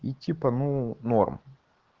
идти по новому норм